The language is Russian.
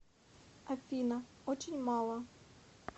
афина очень мало